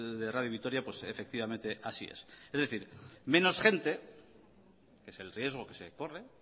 de radio vitoria pues efectivamente así es es decir menos gente es el riesgo que se corre